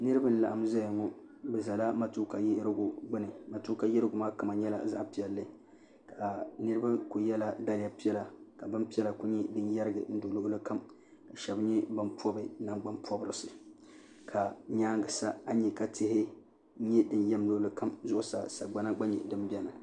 niraba n laɣam ʒɛya ŋo bi ʒɛla matuuka yiɣirigu gbuni matuuka yiɣirigu' maa kama nyɛla zaɣ piɛlli ka niraba ku yɛla daliya piɛla ka bin piɛla ku yɛrigi luɣuli kam shab nyɛ bin pobi nangbani pobirisi ka nyaangi sa a ni nyɛ ka tihi nyɛ din yɛm luɣuli kam zuɣusaa sagbana gba nyɛ din biɛni